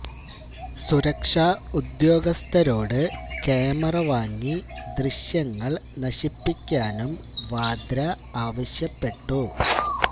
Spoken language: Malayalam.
സുരക്ഷാ ഉദ്യോഗസ്ഥരോട് ക്യാമറ വാങ്ങി ദൃശ്യങ്ങള് നശിപ്പിക്കാനും വാദ്ര ആവശ്യപ്പെട്ടു